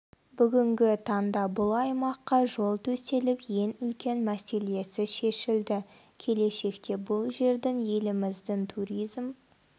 бүгінгі таңда бұл аймаққа жол төселіп ең үлкен мәселесі шешілді келешекте бұл жердің еліміздің туризм